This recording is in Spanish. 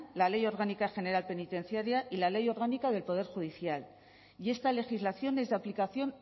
la ley orgánica general penitenciaria y la ley orgánica del poder judicial y esta legislación es de aplicación